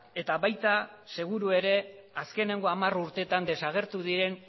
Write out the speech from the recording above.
eta baita seguru ere azkeneko hamar urteetan desagertu diren